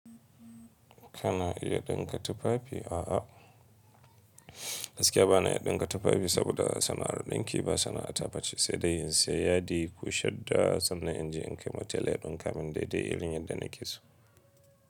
Kana iya ɗinka tufafi? A'a, gaskiya ba na iya ɗinka tufafi saboda sana'ar ɗinki ba sana'a ta face sai dai in saya yadi, yi ko shadda sannan inje in kai ma tela ya ɗinka mun daidai irin yadda na ke so.